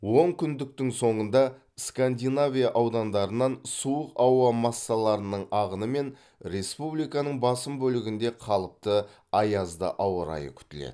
онкүндіктің соңында скандинавия аудандарынан суық ауа массаларының ағынымен республиканың басым бөлігінде қалыпты аязды ауа райы күтіледі